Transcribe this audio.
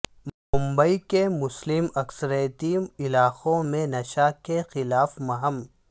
ممبئی کے مسلم اکثریتی علاقوں میں نشہ کے خلاف مہم